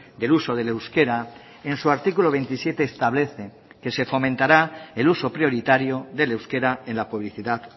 del uso del euskera en su artículo veintisiete establece que se fomentará el uso prioritario del euskera en la publicidad